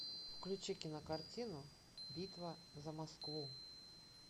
включи кинокартину битва за москву